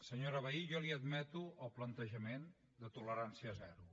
senyora vehí jo li admeto el plantejament de tolerància zero